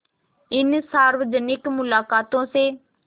इन सार्वजनिक मुलाक़ातों से